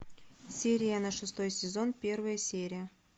сирена шестой сезон первая серия